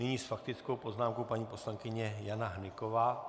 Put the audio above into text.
Nyní s faktickou poznámkou paní poslankyně Jana Hnyková.